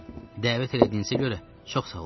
Dəvət elədinizə görə çox sağ olun.